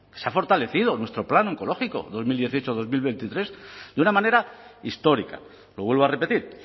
se ha fortalecido nuestro plan oncológico dos mil dieciocho dos mil veintitrés de una manera histórica lo vuelvo a repetir